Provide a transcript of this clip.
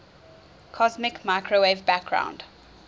cosmic microwave background